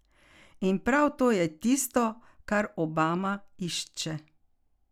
In prav to je tisto, kar Obama išče.